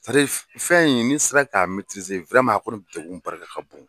fɛn in n'i sera k'a a kɔni degun barika ka bon.